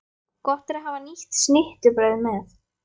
Gott er að hafa nýtt snittubrauð með.